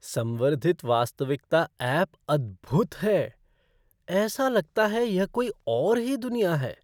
संवर्धित वास्तविकता ऐप अद्भुद है! ऐसा लगता है यह कोई और ही दुनिया है।